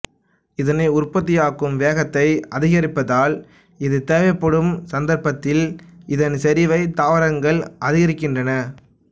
இதனை உற்பத்தியாக்கும் வேகத்தை அதிகரிப்பதால் இது தேவைப்படும் சந்தர்ப்பத்தில் இதன் செறிவைத் தாவரங்கள் அதிகரிக்கின்றன